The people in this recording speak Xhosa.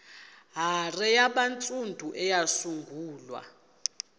hare yabantsundu eyasungulwa